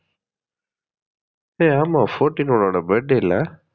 ஏ ஆமா fourteen உன்னோட birthday ல